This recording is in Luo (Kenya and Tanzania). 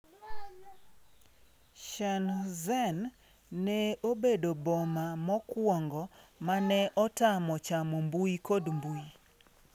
Shenzhen ne obedo boma mokuongo mane otamo chamo mbui kod mbui